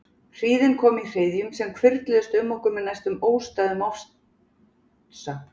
Hríðin kom í hryðjum sem hvirfluðust um okkur með næstum óstæðum ofsa.